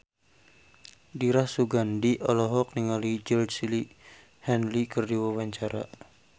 Dira Sugandi olohok ningali Georgie Henley keur diwawancara